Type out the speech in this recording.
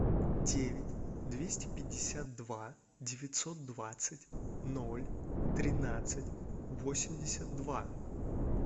девять двести пятьдесят два девятьсот двадцать ноль тринадцать восемьдесят два